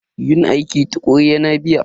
Yin aiki tukuru yana biya.